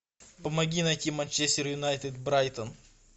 помоги найти манчестер юнайтед брайтон